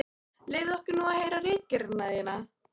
Leyfðu okkur nú að heyra ritgerðina þína!